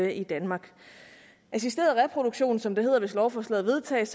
i danmark assisteret reproduktion som det hedder hvis lovforslaget vedtages